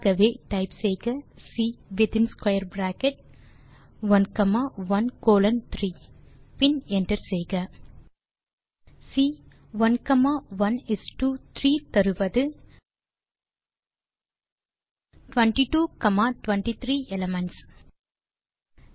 ஆகவே டைப் செய்க C within square bracket 1 comma 1 colon 3 பின் என்டர் செய்க C1 1 இஸ் டோ 3 22 23 எலிமென்ட்ஸ் ஐ தருகிறது